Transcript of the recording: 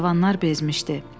Cavanlar bezmişdi.